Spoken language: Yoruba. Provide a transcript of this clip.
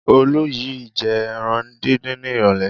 Olú yìí jẹ ẹran dídín ní ìrọ́lẹ́.